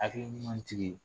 Hakili ɲuman tigi